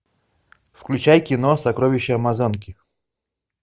включай кино сокровища амазонки